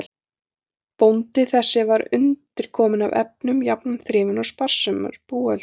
Bóndi þessi var undirkominn af efnum, jafnan þrifinn og sparsamur búhöldur.